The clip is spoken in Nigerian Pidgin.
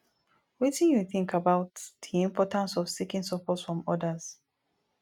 wetin you think about di importance of seeking support from odas